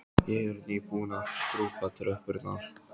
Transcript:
Ég er nýbúin að skrúbba tröppurnar.